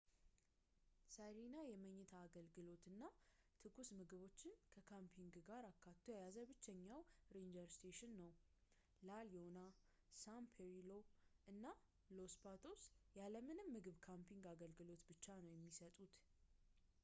sirena የመኝታ አገልግሎትንና ትኩስ ምግቦች ከካምፒንግ ጋር አካቶ የያዘ ብቸኛው ranger station ነው la leona san pedrillo እና los patos ያለ ምንም ምግብ የካምፒንግ አገልግሎትን ብቻ ነው የሚሰጡት